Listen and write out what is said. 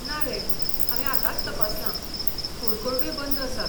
ना रे, हांवें आतांच तपासलां, फूड कोर्टूय बंद आसात.